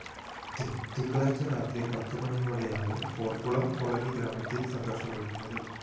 തിങ്കളാഴ്ച രാത്രി പത്തുമണിയോടെയാണ് പോര്‍ക്കുളം കോളനി ഗ്രാമത്തില്‍ സംഘര്‍ഷമുണ്ടായത്